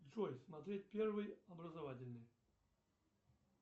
джой смотреть первый образовательный